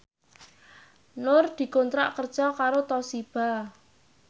Nur dikontrak kerja karo Toshiba